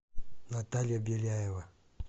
наталья беляева